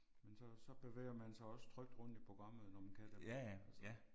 Men så så bevæger man sig også trygt rundt i programmerne når man kan dem altså